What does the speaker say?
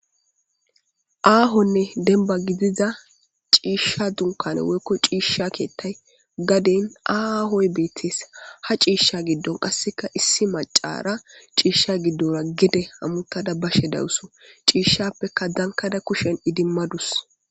Aahonne denba gidiza ciishsha dunkane woykko ciishsha keettay gaden aahoy beetes ha ciishsha giddon qasseka issi macara ciishsha giddora gede hamutada bashe dawusu ciishshappeka dankada kushen idimmadus.